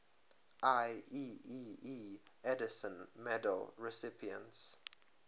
ieee edison medal recipients